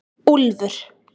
Úlfur